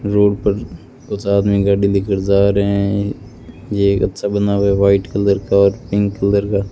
Road पर कुछ आदमी गाड़ी लेकर जा रहे हैं ये एक अच्छा बना हुआ है व्हाइट कलर का और पिंक कलर का।